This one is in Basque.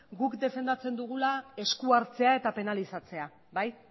guk defendatzen dugula esku hartzea eta penalizatzea bai